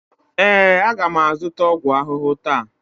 ee, a ga m azụta ọgwụ ahụhụ taa.